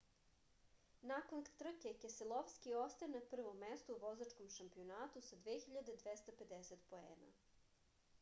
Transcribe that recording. nakon trke keselovski ostaje na prvom mestu u vozačkom šampionatu sa 2250 poena